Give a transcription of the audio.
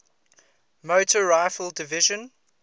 motor rifle division